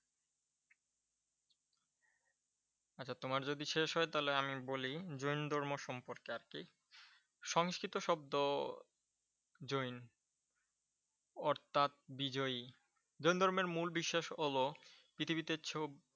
আচ্ছা তোমার যদি শেষ হয় তাহলে আমি বলি জৈন ধর্ম সম্পর্কে আর কি। সংস্কৃত শব্দ জৈন অর্থাৎ বিজয়ী। জৈন ধর্মের মূল বিশ্বাস হলো পৃথিবীতে